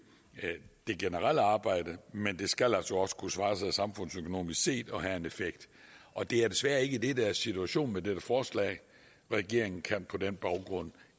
det generelle arbejde men det skal altså også kunne svare sig samfundsøkonomisk set og have en effekt og det er desværre ikke det der er situationen med dette forslag regeringen kan på den baggrund